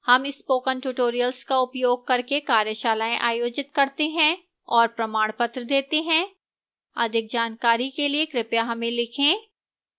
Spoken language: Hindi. हम spoken tutorial का उपयोग करके कार्यशालाएँ आयोजित करते हैं और प्रमाणपत्र देती है अधिक जानकारी के लिए कृपया हमें लिखें